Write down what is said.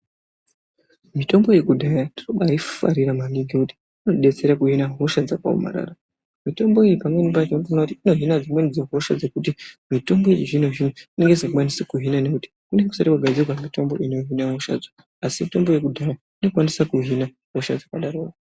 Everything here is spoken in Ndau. Mitombo yekudhaya ndinobaiifarira maningi ngekuti inobatsira kuhine hosha dzakaomarara .Mitombo iyi pamweni pacho unotoone kuti inohine dzimweni dzehosha dzekuti mitombo yechizvinozvino inenge isingachakwanisi kuhina ngekuti kunonga kusina kugadzirwa mitombo inohine hoshadzo asi mitombo yekudhaya inokwanisa kuhina hosha dzakdaro.